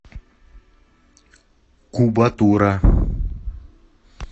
кубатура